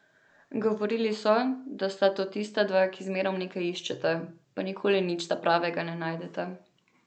Govorili so, da sta to tista dva, ki zmerom nekaj iščeta, pa nikoli nič ta pravega ne najdeta.